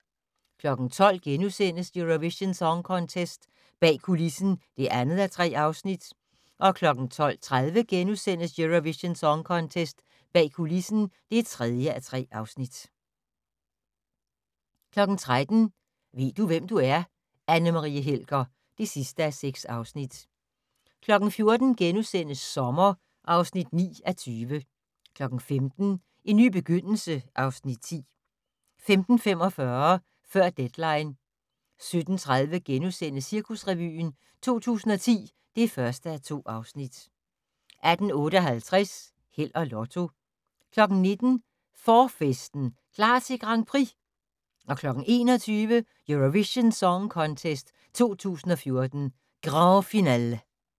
12:00: Eurovision Song Contest - bag kulissen (2:3)* 12:30: Eurovision Song Contest - bag kulissen (3:3)* 13:00: Ved du, hvem du er? - Anne Marie Helger (6:6) 14:00: Sommer (9:20)* 15:00: En ny begyndelse (Afs. 10) 15:45: Før deadline 17:30: Cirkusrevyen 2010 (1:2)* 18:58: Held og Lotto 19:00: Forfesten - klar til Grand Prix! 21:00: Eurovision Song Contest 2014, Grand finale